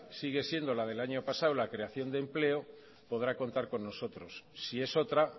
sigue siendo la del año pasado la creación de empleo podrá contar con nosotros si es otra